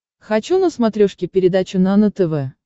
хочу на смотрешке передачу нано тв